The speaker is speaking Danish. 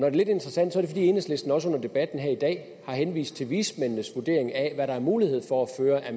er lidt interessant er det fordi enhedslisten også under debatten her i dag har henvist til vismændenes vurdering af hvad der er mulighed for at føre af